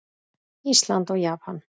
Ísland og Japan.